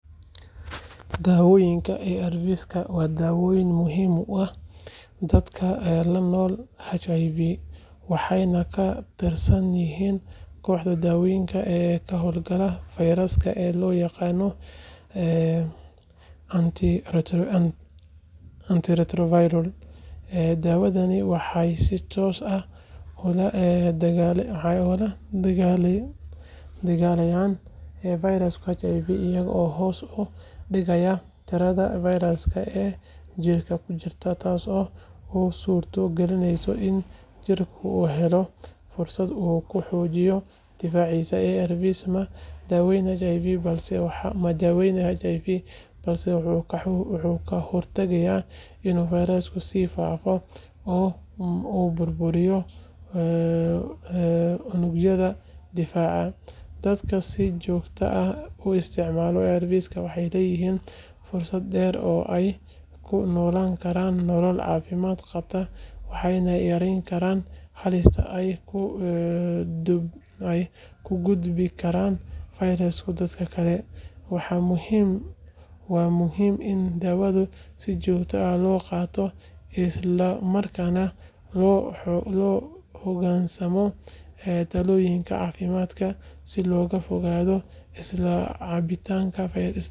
Daawooyinka ARVs waa daawooyin muhiim u ah dadka la nool HIV waxayna ka tirsan yihiin kooxda daawooyinka ka hortaga fayraska ee loo yaqaan antiretroviral. Daawadani waxay si toos ah ula dagaallamaan fayraska HIV iyagoo hoos u dhigaya tirada fayraska ee jirka ku jirta taasoo u suurto gelinaysa in jirka uu helo fursad uu ku xoojiyo difaaciisa. ARVs ma daweeyaan HIV balse waxay ka hortagaan inuu fayrasku sii faafo oo burburiyo unugyada difaaca. Dadka si joogto ah u isticmaala ARVs waxay leeyihiin fursad dheer oo ay ku noolaan karaan nolol caafimaad qabta waxayna yareeyaan halista ay u gudbin karaan fayraska dadka kale. Waa muhiim in daawada si joogto ah loo qaato isla markaana loo hoggaansamo talooyinka caafimaad si looga fogaado iska caabbinta fayraska.